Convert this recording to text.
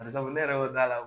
Bari sabu ne yɛrɛ y'o d'a la